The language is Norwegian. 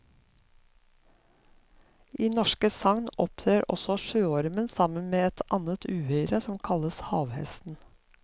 I norske sagn opptrer også sjøormen sammen med et annet uhyre som kalles havhesten.